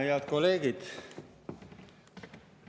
Head kolleegid!